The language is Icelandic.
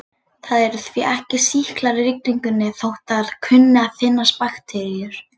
Það eru því ekki sýklar í rigningunni þótt þar kunni að finnast bakteríur.